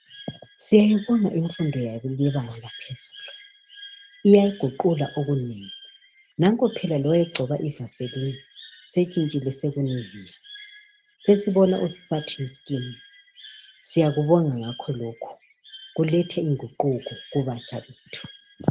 Siyayibonga imfundo yebanga laphezulu, iyaguqula okunengi. Nanko phela lowayegcoba ivaselini, setshintshile sekuniviya. Sesibona osathiskini. Siyakubonga ngakho lokhu, kuletha inguquko kubasha bethu.